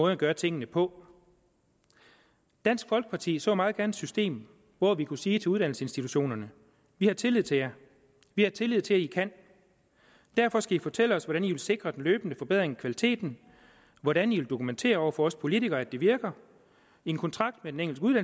at gøre tingene på dansk folkeparti så meget gerne et system hvor vi kunne sige til uddannelsesinstitutionerne vi har tillid til jer vi har tillid til at i kan derfor skal i fortælle os hvordan i vil sikre den løbende forbedring i kvaliteten og hvordan i vil dokumentere over for os politikere at det virker en kontrakt med den enkelte